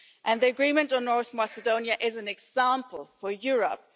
The agreement on North Macedonia is an example for Europe.